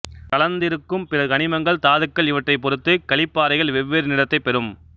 கலந்திருக்கும் பிற கனிமங்கள் தாதுக்கள் இவற்றைப் பொருத்துக் களிப்பாறைகள் வெவ்வேறு நிறத்தைப் பெரும்